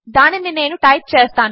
దానినినేనుఇక్కడటైప్చేస్తాను